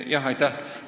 Aitäh!